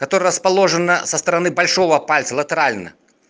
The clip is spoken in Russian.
которая расположена со стороны большого пальца латерально